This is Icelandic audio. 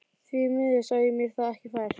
Því miður sá ég mér það ekki fært.